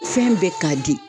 Fɛn bɛ k'a di.